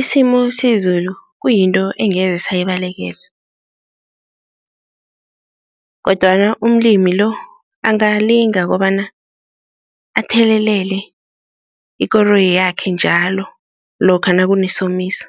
Isimo sezulu kuyinto engeze sayibalekela kodwana umlimi-lo angalinga kobana athelelele ikoroyi yakhe njalo lokha nakunesomiso